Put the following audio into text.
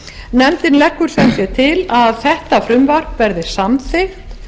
nefndin leggur sem sé til að þetta frumvarp verði samþykkt